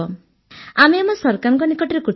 ଆମେ ଆମ ସରକାରଙ୍କ ନିକଟରେ କୃତଜ୍ଞ